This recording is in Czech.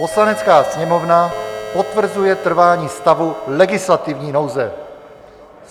"Poslanecká sněmovna potvrzuje trvání stavu legislativní nouze."